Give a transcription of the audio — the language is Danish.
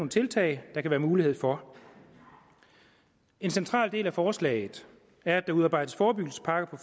tiltag der kan være mulighed for en central del af forslaget er at der udarbejdes forebyggelsespakker